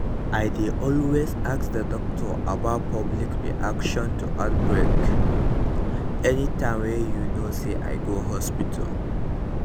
i dey always ask the doctor about public reaction to outbreak anytym wey you know say i go hospital